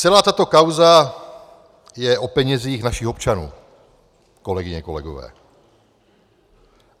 Celá tato kauza je o penězích našich občanů, kolegyně, kolegové.